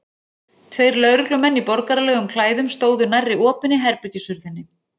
Tveir lögreglumenn í borgaralegum klæðum stóðu nærri opinni herbergishurðinni.